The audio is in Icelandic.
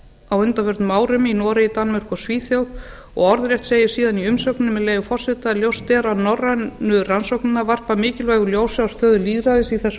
á undanförnum árum í noregi danmörku og svíþjóð orðrétt segir síðan í umsögninni með leyfi forseta ljóst er að norrænu rannsóknirnar varpa mikilvægu ljósi á stöðu lýðræðisins í þessum